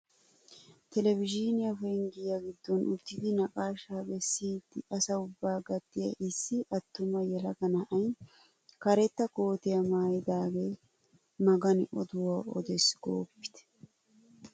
Televizhzhiniyaa penggiyaa giddon uttidi naqashshaa bessiidi asa ubbaa gattiyaa issi attuma yelaga na'ay karetta kootiyaa maayidage magani oduwaa odees gooppitte!